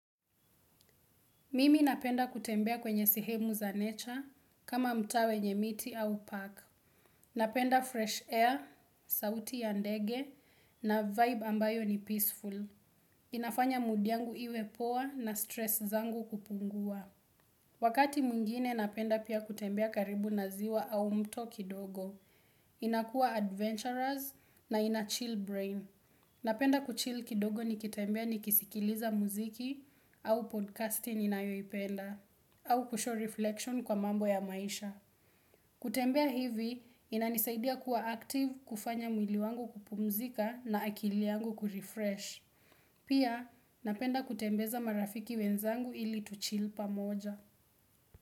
Mimi napenda kutembea kwenye sehemu za nature kama mtaa wenye miti au park. Napenda fresh air, sauti ya ndege na vibe ambayo ni peaceful. Inafanya mood yangu iwe poa na stress zangu kupungua. Wakati mwingine napenda pia kutembea karibu na ziwa au mto kidogo. Inakua adventurous na ina chill brain. Napenda kuchill kidogo nikitembea nikisikiliza muziki au podcasting ninayoipenda. Au ku shore reflection kwa mambo ya maisha. Kutembea hivi, inanisaidia kuwa active, kufanya mwili wangu kupumzika na akili yangu ku refresh. Pia, napenda kutembeza marafiki wenzangu ili tu chill pamoja.